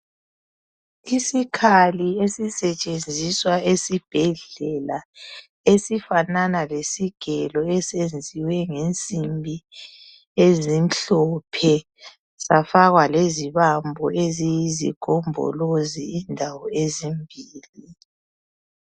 Isikhali esisetshenziswa esibhedlela, esifanana lesigelo, esenziwe ngensimbi ezimhlophe. Safakwa lezibambo eziyisigombolozi indawo ezimbili.